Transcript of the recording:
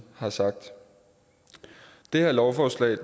har sagt det her lovforslag